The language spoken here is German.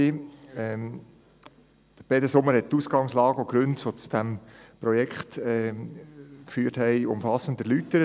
der BaK. Peter Sommer hat die Ausgangslage und die Gründe, die zu diesem Projekt führten, umfassend erläutert.